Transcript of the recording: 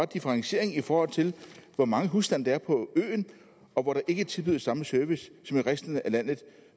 differentiering i forhold til hvor mange husstande der er på øen og hvor der ikke tilbydes samme service som i resten af landet